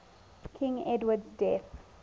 king edward's death